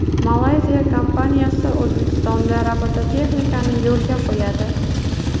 Malayziya kompaniyasi O‘zbekistonda robototexnikani yo‘lga qo‘yadi.